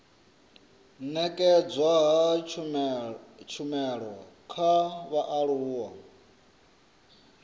nekedzwa ha tshumelo kha vhaaluwa